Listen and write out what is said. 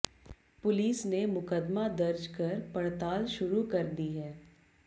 police ने मुकदमा दर्ज कर पड़ताल शुरू कर दी है